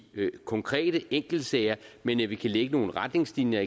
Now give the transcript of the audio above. konkrete enkeltsager men at vi kan lægge nogle retningslinjer